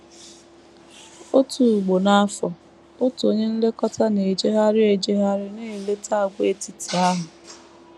Otu ugbo n’afọ, otu onye nlekọta na - ejegharị ejegharị na - eleta àgwàetiti ahụ.